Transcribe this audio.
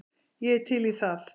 Ég er til í það.